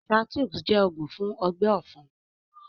Shaltoux jẹ́ oògún fún ọgbẹ́ ọ̀fun